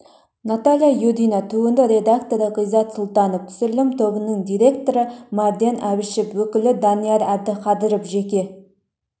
наталья юдина туынды редакторы ғизат сұлтанов түсірілім тобының директоры марлен әбішев өкілі данияр әбдіқадыров жеке